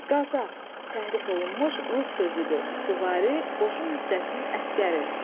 Qazaq, təhrif olunmuş rus sözüdür, süvari qoşun hissəsinin əsgəri.